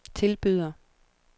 tilbyder